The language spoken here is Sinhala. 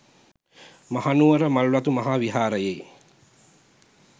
මහනුවර මල්වතු මහා විහාරයේ